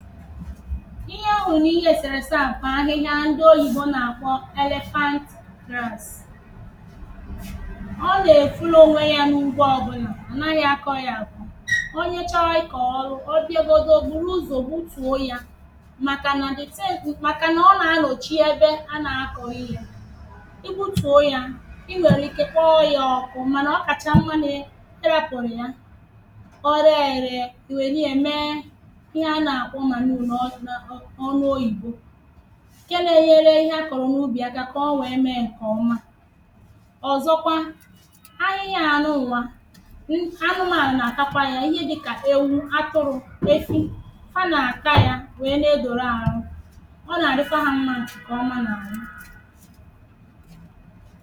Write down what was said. Taà bʊ̀ akwụ a sụ̀lụ̀ à sụ dị n’ime ikwè ǹgàjì igwè dị̀kwàsị n’enū ya, ǹgàjì igwē gbajiri àgbàji dị̀kwàsị̀kwà n’énū yā Òtù esì ème akwụ asụ̀rụ̀ àsụ Wèé wèé biepụ̀te mmānụ̄ bụ̀ A sụcha akwụ̄ otu à ọ dị̀ À rọ́chàpụ̀ta mkpụrụ akwụ̄ ichè kpachàpụ̀ta abụbọ̀ ya ichè wèe bịa yee ya e yee, ụ̀fọdị ńdị̄ nà-èye yā èye ụ̀fọdụ nà-àsa ya nà m̀mirī A sacha yā nà m̀mirī, à zàlụ mmānụ̄ ichè sita yā Ụ̀fọdụ mà-èye èye, e yeche eyē à pị̀cha yā pịchàpụ̀ta mmānụ̄ E jìkwèzì orōkpùákụ órōkpùákwụ dị nà ya ɛ̀mɛpụ̀ta nchà wèkwazialụ mkpụlụ akwụ̄ dị nà ya è yee ya eye wèlu yā wèe mepụ̀ta ùdeakụ̄